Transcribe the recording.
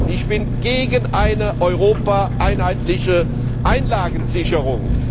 Ich bin gegen eine europaweit einheitliche Einlagensicherung.